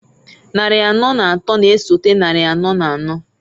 Nnarị anọọ n'atọọ n'esote nnari anọọ n'anọọ,